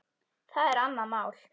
Það er annað mál.